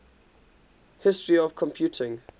history of computing